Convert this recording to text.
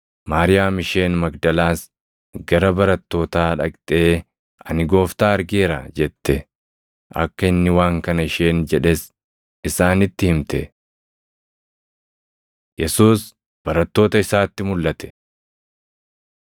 Maariyaam isheen Magdalaas gara barattootaa dhaqxee, “Ani Gooftaa argeera!” jette. Akka inni waan kana isheen jedhes isaanitti himte. Yesuus Barattoota Isaatti Mulʼate